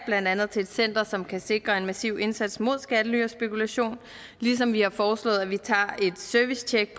blandt andet til et center som kan sikre en massiv indsats mod skattely og spekulation ligesom vi har foreslået at vi tager et servicetjek